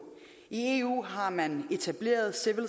i eu har man etableret civil